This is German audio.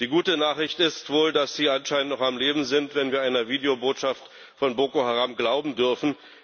Die gute Nachricht ist wohl, dass sie anscheinend noch am Leben sind, wenn wir einer Videobotschaft von Boko Haram glauben dürfen.